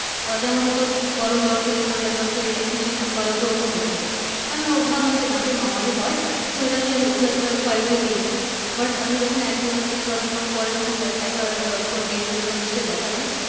যেমন হয়তো গরম জল খেলে ঠান্ডা জল খেলে একটু চিনচিন করা ঐরকম হচ্ছিলো আমিও ভাবলাম যে দাতে normally হয় তো এটাকে আমি খুব একটা priority দেইনি but আমি যখন একমাস বা দুমাস পরে যখন একবার কোন dent specialist কে দেখালাম